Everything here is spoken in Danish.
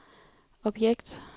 objekt